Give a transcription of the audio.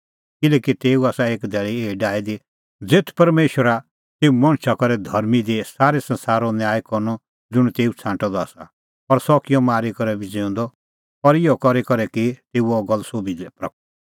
किल्हैकि तेऊ आसा एक धैल़ी एही डाही दी ज़ेथ परमेशरा तेऊ मणछा करै धर्मां दी सारै संसारो न्याय करनअ ज़ुंण तेऊ छ़ांटअ द आसा और सह किअ मरी करै बी ज़िऊंदअ और इहअ करी करै की तेऊ अह गल्ल सोभी लै प्रगट